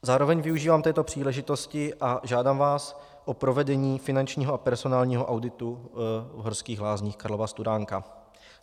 Zároveň využívám této příležitosti a žádám vás o provedení finančního a personálního auditu v Horských lázních Karlova Studánka.